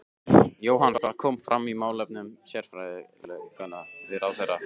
Jóhann, hvað kom fram í málefnum sérfræðilækna við ráðherra?